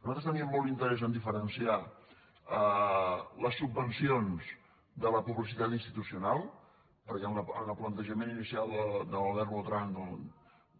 nosaltres teníem molt interès en diferenciar les subvencions de la publicitat institucional perquè en el plantejament inicial de l’albert botran